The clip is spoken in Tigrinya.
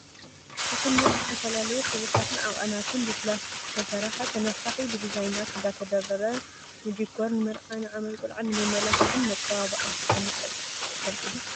ፍሕኛ ብዝተፈላለዩ ሕብርታትን ዓቀናትን ብፕላስቲክ ዝተሰረሓ ተነፊሒ ብዲዛይናት እንዳተደርደረ ንድኳር፣ ንመርዓ፣ ንዓመት ቆልዓ ንመመላክዕን መፀባበቅን ከም ዝጠቅም ይፈልጡ ዶ ?